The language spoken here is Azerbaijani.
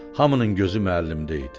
Hamının gözü müəllimdə idi.